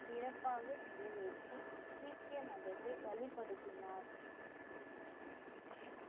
சிறப்பாக நிறைவேற்றி சீக்கிய மதத்தை வழிபடுத்தினார்